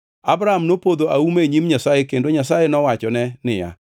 Abram nopodho auma e nyim Nyasaye kendo Nyasaye nowachone niya,